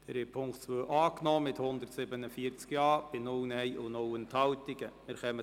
Sie haben den Punkt 2 mit 147 Ja- gegen 0 Nein-Stimmen bei 0 Enthaltungen angenommen.